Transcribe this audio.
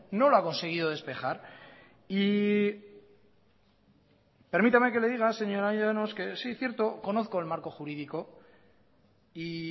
no lo ha conseguido despejar y permítame que le diga señora llanos que sí cierto conozco el marco jurídico y